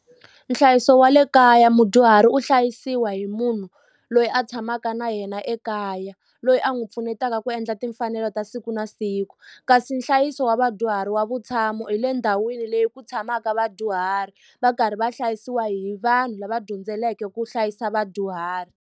Nhlayiso wa le kaya mudyuhari u hlayisiwa hi munhu loyi a tshamaka na yena ekaya loyi a n'wi pfunetaka ku endla timfanelo ta siku na siku kasi nhlayiso wa vadyuhari wa vutshamo hi le ndhawini leyi ku tshamaka vadyuhari va karhi va hlayisiwa hi vanhu lava dyondzeleke ku hlayisa vadyuhari.